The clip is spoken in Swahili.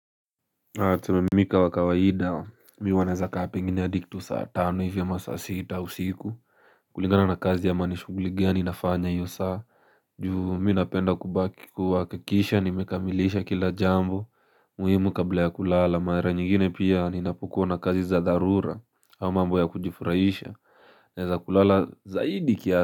Wakati wa kawaida mimi huwa naweza kaa pengine adi kitu saa tano hivi ama saa sita usiku. Kulingana na kazi ama nishughuli gani ninafanya hiyo saa. Juu mimi napenda kubaki kuhakikisha nimekamilisha kila jambo muhimu kabla ya kulala mara nyingine pia ninapokuwa na kazi za dharura au mambo ya kujifurahisha naweza kulala zaidi kiasi.